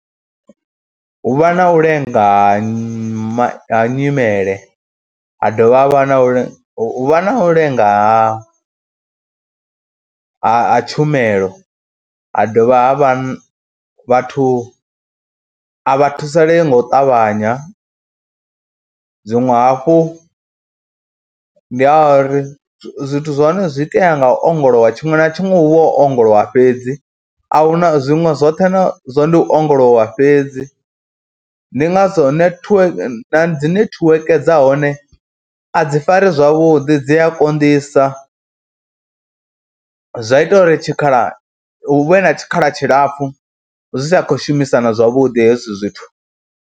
Hu vha na u lenga ha ma ha nyimele, ha dovha ha vha na u lenga, hu vha na u lenga ha ha ha tshumelo, ha dovha ha vha vhathu a vha thusalee nga u ṱavhanya. Zwiṅwe hafhu ndi ha uri zwithu zwa hone zwi itea nga u ongolowa, tshiṅwe na tshiṅwe hu vha hu ongolowa fhedzi a hu na zwinwe zwoṱhe na ndi u ongolowa fhedzi. Ndi ngazwo netiweke, na dzi netiweke dza hone a dzi fari zwavhuḓi, dzi a konḓisa, zwa ita uri tshikhalani hu vhe na tshikhala tshilapfhu zwi sa khou shumisana zwavhuḓi hezwi zwithu.